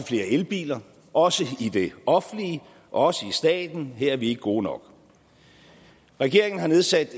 flere elbiler også i det offentlige og også i staten her er vi ikke gode nok regeringen har nedsat